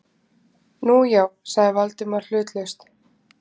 Nú, já- sagði Valdimar hlutlaust.